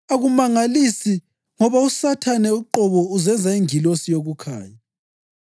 Akumangalisi ngoba loSathane uqobo uzenza ingilosi yokukhanya.